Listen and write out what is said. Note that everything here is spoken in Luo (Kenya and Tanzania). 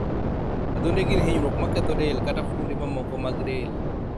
Adhonde gin hinyruoge ma ketho del kata fuonde mamoko mag del.